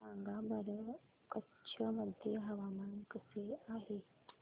सांगा बरं कच्छ मध्ये हवामान कसे आहे